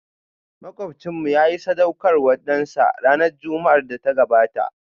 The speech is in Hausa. Makwabcinmu yayi sadaukarwar dansa ranar Juma'ar da ta gabata